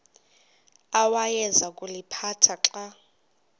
awayeza kuliphatha xa